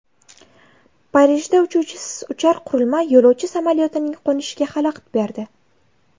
Parijda uchuvchisiz uchar qurilma yo‘lovchi samolyotining qo‘nishiga xalaqit berdi.